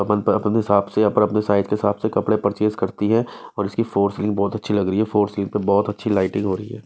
अपन पर अपने हिसाब से अपने अपने साइड के हिसाब से कपड़े परचेज करती है और इसकी फॉर सीलिंग बहुत अच्छी लग रही है फॉर सीलिंग पे बहोत अच्छी लाइटिंग हो रही है।